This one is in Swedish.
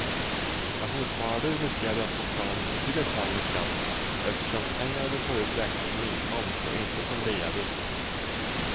Pensionssparar du riskerar du att få betala en betydligt högre skatt eftersom pengarna du får ut räknas som inkomst och inte som reavinst.